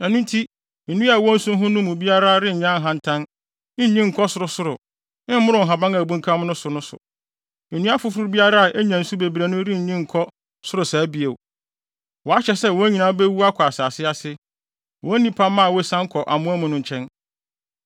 Ɛno nti, nnua a ɛwɔ nsu ho no mu biara renyɛ ahantan, nnyin nkɔ sorosoro, mmoro nhaban a abunkam so no so. Nnua afoforo biara a enya nsu bebree no rennyin nkɔ soro saa bio. Wɔahyɛ sɛ wɔn nyinaa bewu akɔ asase ase, wɔ nnipamma a wosian kɔ amoa mu no nkyɛn.